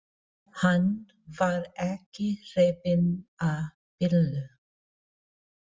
Hann var ekki hrifinn af Bellu.